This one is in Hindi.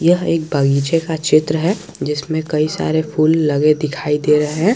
यह एक बगीचे का चित्र है जिसमें कई सारे फूल लगे दिखाई दे रहे हैं।